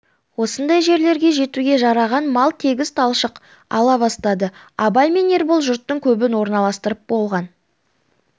осындай жерлерге жетуге жараған мал тегіс талшық ала бастады абай мен ербол жұрттың көбін орналастырып болған